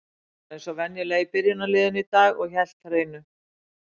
Hann var eins og venjulega í byrjunarliðinu í dag og hélt hreinu.